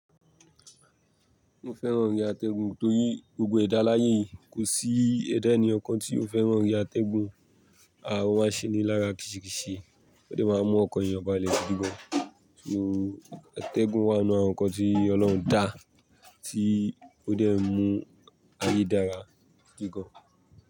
Mo fẹ́ràn orin atẹ́gùn torí gbogbo ẹ̀dá láyé kò sí ẹ̀dá ẹni ọ̀kan tí ó fẹ́ràn orin atẹ́gùn. A ó máa ṣe ní lára kìṣìkìṣì, ó dẹ máa mú ọkàn èèyàn balẹ̀ gidígọ́n. So, atẹ́gùn wá nínú àwọn nǹkan tí Ọlọ́run dá tí ó dẹ n mú ayé dára gídigan.